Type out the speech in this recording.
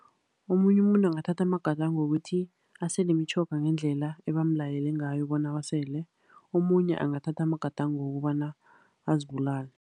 Omunye umuntu angathatha amagadango wokuthi asele imitjhoga ngendlela ebamlayele ngayo bona awasele, omunye angathatha amagadango wokobana azibulale.